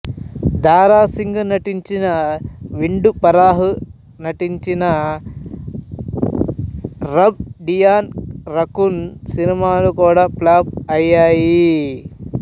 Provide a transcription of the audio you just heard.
దారా సింగ్ నటించిన విండూ ఫరాహ్ నటించిన రబ్ డియాన్ రఖన్ సినిమాలు కూడా ఫ్లాప్ అయ్యాయి